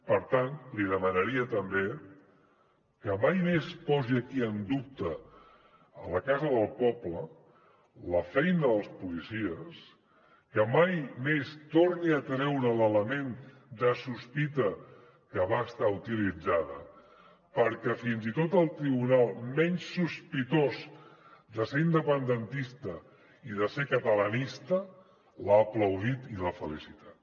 per tant li demanaria també que mai més posi aquí en dubte a la casa del poble la feina dels policies que mai més torni a treure l’element de sospita que va estar utilitzada perquè fins i tot el tribunal menys sospitós de ser independentista i de ser catalanista l’ha aplaudit i l’ha felicitat